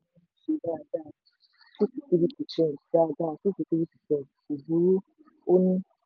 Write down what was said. ṣe dáadáa two to three percent dáadáa two to three percent kò burú ó ní.